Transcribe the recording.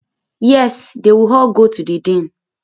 Êàê òóò ñîâñåì íåò íè÷åãî.